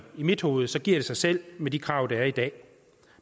i mit hoved giver sig selv med de krav der er i dag